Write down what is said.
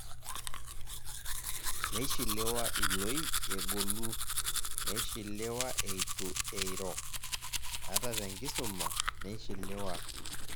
neishiliwa iloik egolu, neishiliwa eitu eiro, ata te nkisuma neisiliwa.